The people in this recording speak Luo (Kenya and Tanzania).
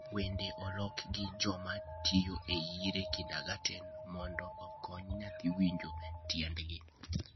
Wendegi oloki gi joma tiyo e Erie kindergarten mondo okony nyathi winjo tiendgi: